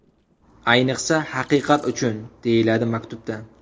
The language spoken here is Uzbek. Ayniqsa, Haqiqat uchun!”, deyiladi maktubda.